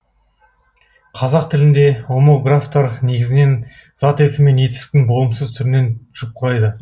қазақ тілінде омографтар негізінен зат есім мен етістіктің болымсыз түрінен жұп құрайды